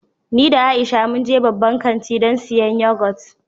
Ni da Aisha mun je babban kanti don siyan yagot.